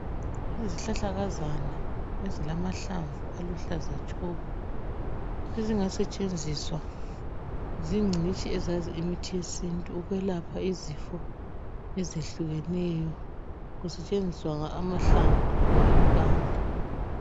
Izihlahlakazana ezilamahlamvu aluhlaza tshoko ezingasetshenziswa zingcitshi ezazi imithi yesintu ukwelapha izifo ezehlehlukeneyo kusetshenziswa amahlamvu loba impande.